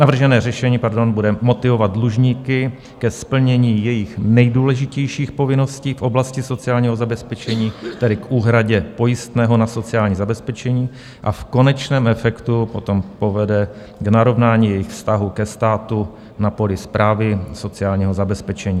Navržené řešení bude motivovat dlužníky ke splnění jejich nejdůležitějších povinností v oblasti sociálního zabezpečení, tedy k úhradě pojistného na sociální zabezpečení, a v konečném efektu potom povede k narovnání jejich vztahu ke státu na poli správy sociálního zabezpečení.